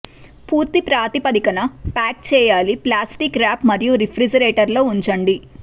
పూర్తి ప్రాతిపదికన ప్యాక్ చేయాలి ప్లాస్టిక్ ర్యాప్ మరియు రిఫ్రిజిరేటర్ లో ఉంచండి